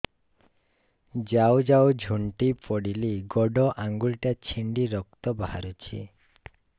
ଯାଉ ଯାଉ ଝୁଣ୍ଟି ପଡ଼ିଲି ଗୋଡ଼ ଆଂଗୁଳିଟା ଛିଣ୍ଡି ରକ୍ତ ବାହାରୁଚି